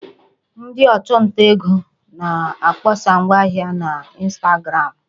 Ndị ọchụnta ego na-akpọsa ngwa ahịa ha na ịnstagramụ